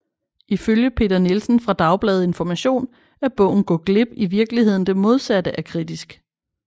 Ifølge Peter Nielsen fra Dagbladet Information er bogen Gå glip i virkeligheden det modsatte af kritisk